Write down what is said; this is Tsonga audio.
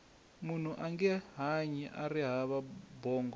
munhu ange hanyi ari hava bongo